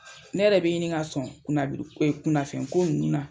Ne yɛrɛ bɛ ɲini ka sɔn kunnafɛn ko ninnu na.